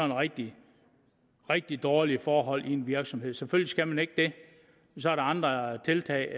rigtig rigtig dårlige forhold i en virksomhed selvfølgelig skal man ikke det så er det andre tiltag